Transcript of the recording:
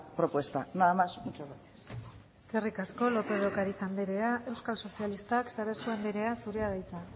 propuesta nada más y muchas gracias eskerrik asko lópez de ocariz andrea euskal sozialistak sarasua andrea zurea da hitza